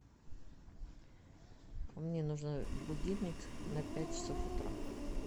мне нужен будильник на пять часов утра